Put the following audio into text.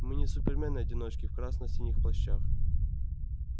мы не супермены-одиночки в красно-синих плащах